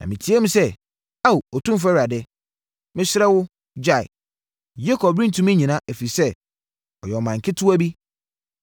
Na me teaam sɛ, “Ao, Otumfoɔ Awurade, mesrɛ wo, gyae. Yakob rentumi nnyina, ɛfiri sɛ, ɔyɛ ɔman ketewa bi.”